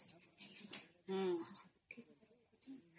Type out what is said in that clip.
noise